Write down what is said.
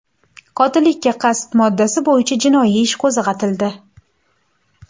Qotillikka qasd moddasi bo‘yicha jinoiy ish qo‘zg‘atildi.